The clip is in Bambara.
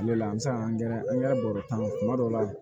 Ne la an bɛ se ka angɛrɛ bɔ tan kuma dɔ la